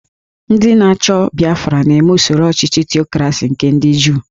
Ndị na-achọ Biafra na-eme usoro ọchịchị Tiokrasi nke ndị Juu